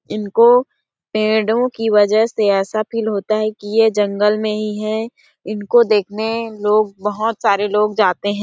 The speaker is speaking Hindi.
इनको पेड़ों की वजह से ऐसा फील होता है ये जंगल नहीं है इनको देखने लोग बहुत सारे लोग जाते है।